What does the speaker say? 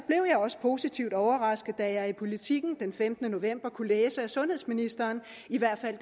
også positivt overrasket da jeg i politiken den femtende november kunne læse at sundhedsministeren i hvert fald